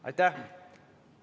Aitäh!